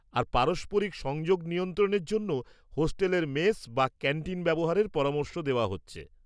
আর পারস্পরিক সংযোগ নিয়ন্ত্রণের জন্য হোস্টেলের মেস বা ক্যান্টিন ব্যবহারের পরামর্শ দেওয়া হচ্ছে।